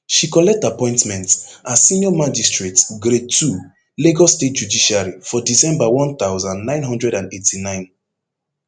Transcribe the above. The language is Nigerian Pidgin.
she collect appointment as senior magistrate grade ii lagos state judiciary for december one thousand, nine hundred and eighty-nine